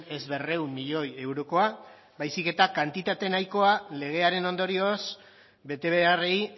ez berrehun milioi eurokoa baizik eta kantitate nahikoa legearen ondorioz bete beharrei